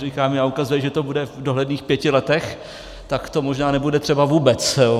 Říká mi a ukazuje, že to bude v dohledných pěti letech, tak to možná nebude třeba vůbec.